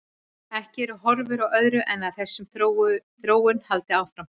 Ekki eru horfur á öðru en að þessi þróun haldi áfram.